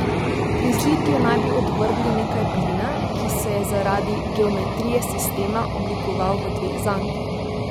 Pri zlitju naj bi odvrgli nekaj plina, ki se je zaradi geometrije sistema oblikoval v dve zanki.